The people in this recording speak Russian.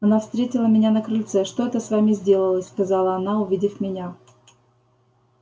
она встретила меня на крыльце что это с вами сделалось сказала она увидев меня